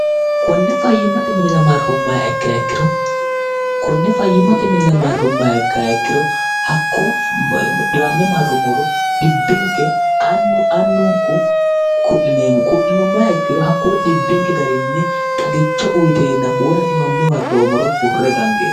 kone fyimmat miir rummikke hyikkirokonne fayyimmate minira marrummayekki yikkiro hakkoodhiwamme marrummoro dhibbinke nnu annunku ku'lineemmo ku'linummayekkiro hakkoo dhibbinke garinni xagicho uyideenna hwona dhiwamme marroommoro hurre dangeemo